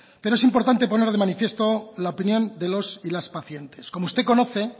pero es importante poner de manifiesto la opinión de los y las pacientes como usted conoce